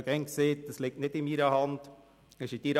Ich habe immer gesagt, dass es nicht in meiner Hand liege.